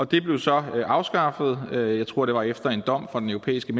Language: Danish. det blev så afskaffet jeg tror det var efter en dom fra den europæiske